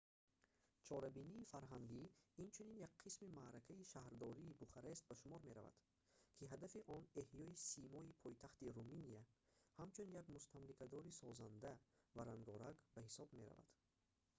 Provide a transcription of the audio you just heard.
чорабинии фарҳангӣ инчунин як қисми маъракаи шаҳрдории бухарест ба шумор меравад ки ҳадафи он эҳёи симои пойтахти руминия ҳамчун як мустамликадори созанда ва рангоранг ба ҳисоб меравад